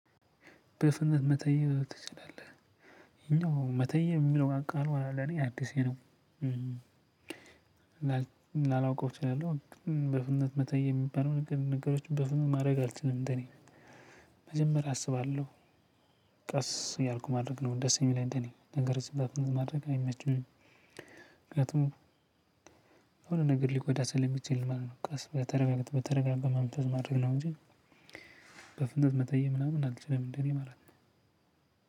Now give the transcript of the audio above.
በፍጥነት መተየብ ትችላለህ ይሄኛው መተየብ እሚለው ቃሉ ለኔ አዲሴ ነው። ላላውቀው እችላለሁ። በፍጥነት መተየብ የሚባለው ነገር ነገሮች በፍጥነት ማድረግ አልችልም እንደኔ። መጀመሪያ አስባለሁ ቀስ እያልኩ ማድረግ ነው ደስ የሚለኝ እንደኔ ነገርን በፍጥነት ማድረግ አይመችም። ምክንያቱም የሆነ ነገር ሊጎዳ ስለሚችል ማለት ነው። ቀስ ብለህ በተረጋጋ በተረጋጋ መንፈስ ማድረግ ነው። እንጂ በፍንጥ መተየብ ምናምን አልችልም እንደኔ ማለት ነው።